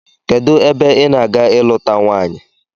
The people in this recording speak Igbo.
Kedụ ebe ị na-aga ịlụta nwaanyị?